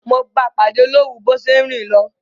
Mo báa pàdé lórun bo se n rin lo